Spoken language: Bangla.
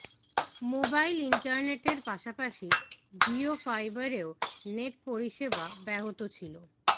মোবাইল ইন্টারনেটের পাশাপাশি জিও ফাইবারেও নেট পরিষেবা ব্যাহত ছিল